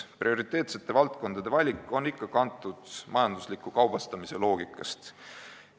Prioriteetsete valdkondade valik on ikka kantud majandusliku kaubastamise loogikast.